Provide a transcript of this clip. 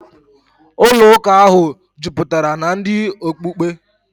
Ụlọụka ahụ jupụtara na ndị okpukpe.